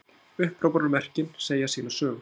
Upphrópunarmerkin segja sína sögu.